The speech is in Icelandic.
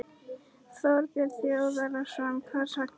Þorbjörn Þórðarson: Hvers vegna?